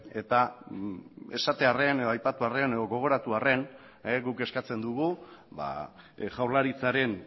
eta esatearren edo aipatuarren edo gogoratuarren guk eskatzen dugu jaurlaritzaren